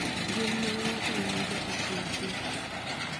gin ma ng’ato yudo e kind joot."